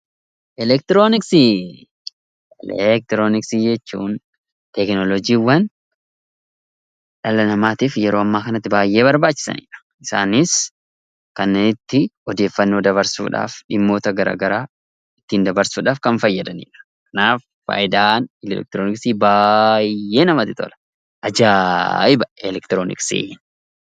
Elektirooniksii jechuun teekinooloojiiwwan dhala namaatiif yeroo ammaa kanatti baay'ee barbaachisanidha. Isaanis kanneen itti odeeffannoo dabarsuudhaaf, dhimmoota gara garaa ittiin dabarsuudhaaf kan fayyadanidha. Kanaaf faayidaan elektirooniksii baay'ee namatti tola! Ajaa'iba elektirooniksiin!